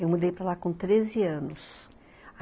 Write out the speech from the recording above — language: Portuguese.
Eu mudei para lá com treze anos.